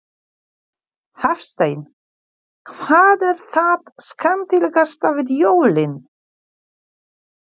Hafsteinn: Hvað er það skemmtilegasta við jólin?